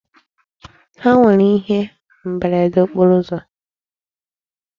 Ha nwere ihe mberede okporo ụzọ.